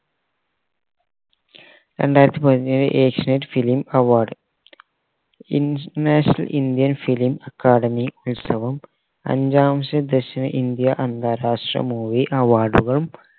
രണ്ടായിരത്തി പതിനേഴ് Asianet film award international indian fil academy ഉത്സവം അഞ്ചാമത്തെ ദക്ഷിണ ഇന്ത്യ അന്താരാഷ്ട്ര movie award കളും